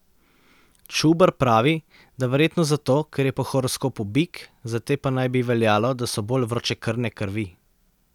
Čuber pravi, da verjetno zato, ker je po horoskopu bik, za te pa naj bi veljalo, da so bolj vročekrvne krvi.